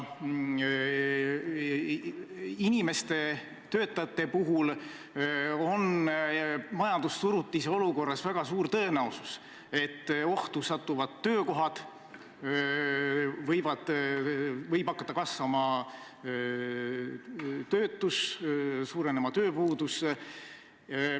Töötajate puhul on majandussurutise olukorras väga suur tõenäosus, et ohtu satuvad töökohad, võib hakata suurenema tööpuudus.